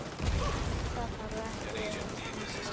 Það þarf ekki að undra.